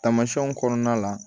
Tamasiyɛnw kɔnɔna la